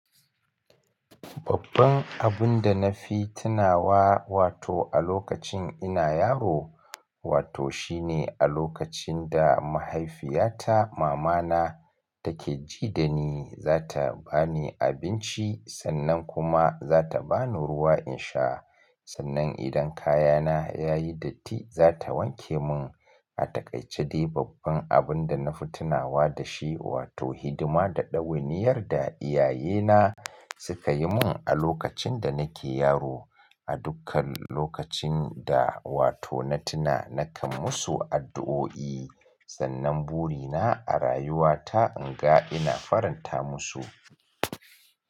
Babban abun da na fi tunawa wato a lokacin ina yaro, wato shine a lokacin da mahaifiyata mamana take ji da ni, za ta ba ni abinci sannan kuma za ta ba ni ruwa in sha. Sannan idan kayana ya yi datti, za ta wanke mun. A takaice dai babban abun da na fi tunawa da shi wato hidima da ɗawainiyar da iyayena suka yi mun a lokacin da nake yaro. A dukkan lokacin da wato na tuna nakan musu addu'o'i, sannan buri na a rayuwa ta in ga ina faranta musu.